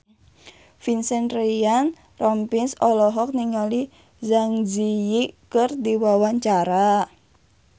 Vincent Ryan Rompies olohok ningali Zang Zi Yi keur diwawancara